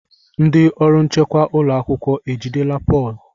Ndị ọrụ nchekwa ụlọ akwụkwọ ejidela Pọl?